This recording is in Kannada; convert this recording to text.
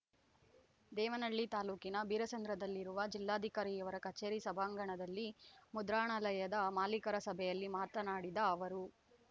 ದೇವನಹಳ್ಳಿ ತಾಲ್ಲೂಕಿನ ಬೀರಸಂದ್ರದಲ್ಲಿರುವ ಜಿಲ್ಲಾಧಿಕಾರಿಯವರ ಕಚೇರಿ ಸಭಾಂಗಣದಲ್ಲಿ ಮುದ್ರಣಾಲಯದ ಮಾಲೀಕರ ಸಭೆಯಲ್ಲಿ ಮಾತನಾಡಿದ ಅವರು